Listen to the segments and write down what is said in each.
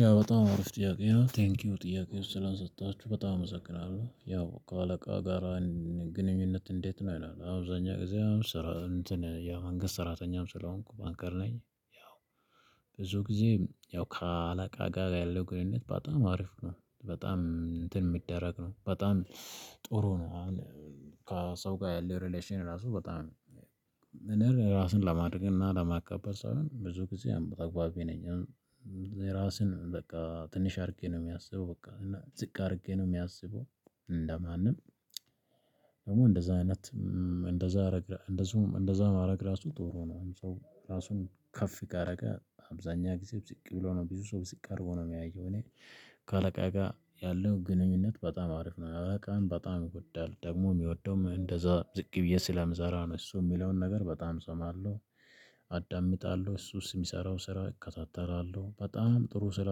ያ በጣም አሪፍ ጥያቄ ነው ቴንኪው ጥያቄ ውስጥ ስለሰጠችው በጣም እመሰግናለሁ ያው ከአለቃ ጋራ ግንኙነት እንዴት ነው ይላል? አብዛኛው ጊዜ መንገድ ሰራተኛም ስለሆንኩ ባንከር ነኝ። ያው ብዙ ጊዜ ያው ከአለቃ ጋር ያለው ግንኙነት በጣም አሪፍ ነው በጣም እንትን የሚደረግ ነው በጣም ጥሩ ነው። ከሰው ጋር ያለው ሪሌሽን ራሱ በጣም ራስን ለማድረግ እና ለማቀበል ሳልሆን ብዙ ጊዜ ተግባቢ ነኝ። ራስን በቃ ትንሽ አድርጌ ነው የሚያስበው በቃ እና ዝቅ አድርጌ ነው የሚያስበው እንደማንም ደግሞ እንደዛ አይነት እንደዛ እንደዛ እንደዛ ማድረግ ራሱ ጥሩ ነው። ራሱን ከፍ ካደረገ አብዛኛው ጊዜ ብዝቅ ብሎ ነው ብዙ ሰው ብዝቅ አድርጎ ነው የሚያየው እኔ ከአለቃ ጋር ያለው ግንኙነት በጣም አሪፍ ነው። አለቃም በጣም ይዎዳል ደግሞ የሚወደውም እንደዛ ዝቅ ብዬ ስለምሰራ ነው እሱ የሚለውን ነገር በጣም እሰማለሁ። አዳምጣለሁ እሱ የሚሰራው ስራ እከታተላለሁ በጣም ጥሩ ስራ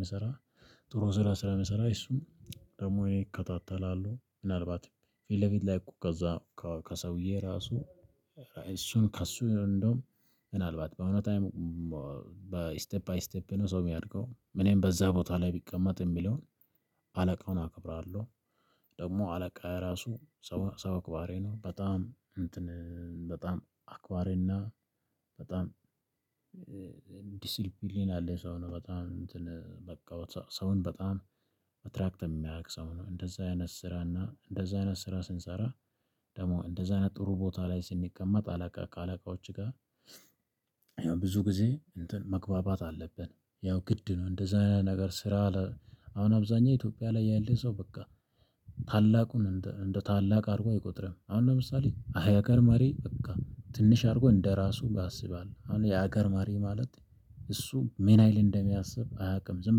መሰራት ጥሩ ስራ ስራ መሰራት እሱም ደግሞ እኔ እከታተላለሁ። ምናልባትም ፊት ለፊት ላይ እኮ ከዛ ከሰውዬ ራሱ እሱን ከሱ እንደውም ምናልባት በእውነት በስተፕ ባይ ስቴፕ ነው ሰው የሚያድገው እኔም በዛ ቦታ ላይ ቢቀመጥ የሚለውን አለቃውን አክብራለሁ። ደግሞ አለቃ ራሱ ሰው ሰው አክባሪ ነው በጣም እንትን በጣም አአክባሪና በጣም ዲሲልፕሊን ያለው ሰው ነው። በጣም እንትን በቃው ሰውን በጣም አትራክት የሚያውቅ ሰው ነው። እንደዛ አይነት ስራና እንደዛ አይነት ስራ ስንሰራ ደግሞ እንደዛ አይነት ጥሩ ቦታ ላይ ስንቀመጥ አለቃ ከአለቃዎች ጋር ብዙ ጊዜ እንትን መግባባት አለብን። ያው ግድ ነው እንደዚህ አይነት ነገር ስራ። አሁን አብዛኛው ኢትዮጵያ ላይ ያለ ሰው በቃ ታላቁን እንደ ታላቅ አድርጎ አይቆጥርም። አሁን ለምሳሌ አያቀር መሪ በቃ ትንሽ አድርጎ እንደራሱ ያስባል አሁን የሀገር መሪ ማለት እሱ ምንያህል እንደሚያስብ አያውቅም። ዝም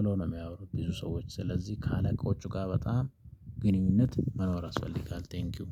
ብለው ነው የሚያወሩት ብዙ ሰዎች ስለዚህ ከአለቆቹ ጋር በጣም ግንኙነት መኖር ያስፈልጋል። ቴንኪው